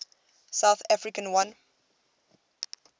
south africa won